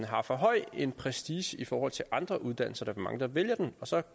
har for høj en prestige i forhold til andre uddannelser der er for mange der vælger den og så